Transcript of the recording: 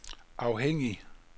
afhængig